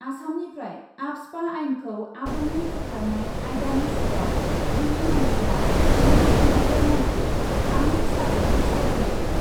आसामनिफ्राय आफ्सपा आइनखौ आबुङै बोखारनाय आयदानि सायाव गिबि मन्थ्रिआ मिरु नखर मन्थ्रि आमित शाहजों सावरायज्लायदों।